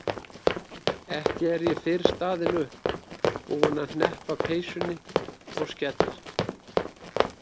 Ekki er ég fyrr staðin upp, búin að hneppa peysunni og skella